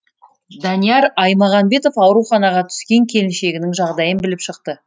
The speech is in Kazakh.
данияр аймағанбетов ауруханаға түскен келіншегінің жағдайын біліп шықты